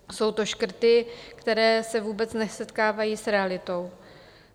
Jsou to škrty, které se vůbec nesetkávají s realitou.